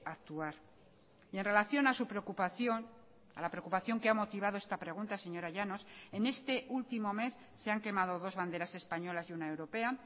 actuar y en relación a su preocupación a la preocupación que ha motivado esta pregunta señora llanos en este último mes se han quemado dos banderas españolas y una europea